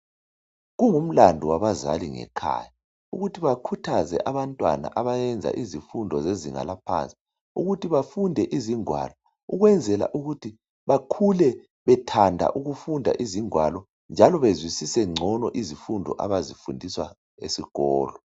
Kungumlando wabazali ngekhaya ukuthi bakhuthaze abantwana abayenza izifundo zezinga laphansi ukuthi bafunde izingwalo ukwenzela ukuthi bakhule bethanda ukufunda izingwalo njalo bezwisise ngcono izifundo abazifunda esikolo.